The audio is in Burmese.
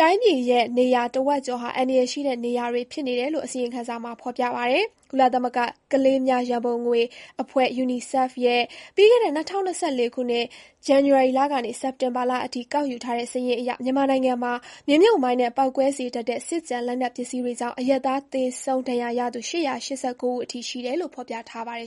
တိုင်းပြည်ရဲ့ နေရာတဝက်ကျော်ဟာ အန္တရာယ်ရှိတဲ့နေရာတွေ ဖြစ်နေတယ်လို့ အစီရင်ခံစာမှာ ဖေါ်ပြပါတယ်။ ကုလသမဂ္ဂကလေးများရံပုံငွေအဖွဲ့ (UNICEF) ရဲ့ ပြီးခဲ့တဲ့ ၂၀၂၄ ခုနှစ် ဇန်နဝါရီလကနေ စက်တင်ဘာလအထိ ကောက်ယူထားတဲ့စာရင်းအရ မြန်မာနိုင်ငံမှာ မြေမြှုပ်မိုင်းနဲ့ ပေါက်ကွဲစေတတ်တဲ့ စစ်ကျန် လက်နက်ပစ္စည်း တွေကြောင့် အရပ်သားသေဆုံးဒဏ်ရာရသူ (၈၈၉) ဦးအထိရှိတယ်လို့ ဖော်ပြထား ပါတယ်